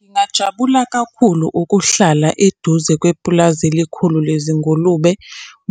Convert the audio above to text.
Ngingajabula kakhulu ukuhlala eduze kwepulazi elikhulu lezingulube,